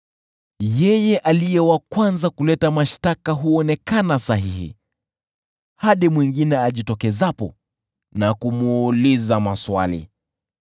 Yeye aliye wa kwanza kuleta mashtaka huonekana sahihi, hadi mwingine ajitokezapo na kumuuliza maswali.